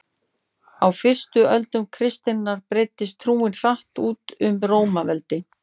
á fyrstu öldum kristninnar breiddist trúin hratt út um rómaveldi